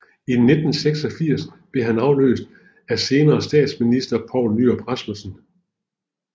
I 1986 blev han afløst af senere statsminister Poul Nyrup Rasmussen